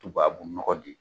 Tubabu nɔgɔ di.